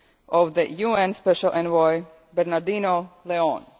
offices of the UN Special Envoy, Bernardino